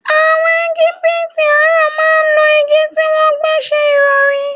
Àwọ̀n Egipiti àárọ̀ máa ń lo igi tí wọ́n gbẹ́ ṣẹ ìrọ̀rí.